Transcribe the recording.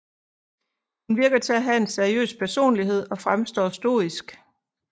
Hun virker til at have en seriøs personlighed og fremstår stoisk